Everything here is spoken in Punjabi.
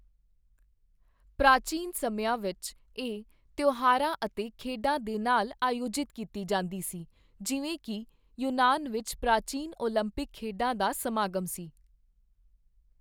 ਪ੍ਰਾਚੀਨ ਸਮਿਆਂ ਵਿੱਚ, ਇਹ ਤਿਉਹਾਰਾਂ ਅਤੇ ਖੇਡਾਂ ਦੇ ਨਾਲ ਆਯੋਜਿਤ ਕੀਤੀ ਜਾਂਦੀ ਸੀ, ਜਿਵੇਂ ਕਿ ਯੂਨਾਨ ਵਿੱਚ ਪ੍ਰਾਚੀਨ ਓਲੰਪਿਕ ਖੇਡਾਂ ਦਾ ਸਮਾਗਮ ਸੀ।